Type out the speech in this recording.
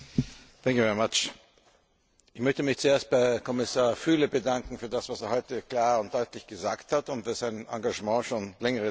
Herr Präsident! Ich möchte mich zuerst bei Kommissar Füle bedanken für das, was er heute klar und deutlich gesagt hat, und für sein Engagement schon über längere Zeit.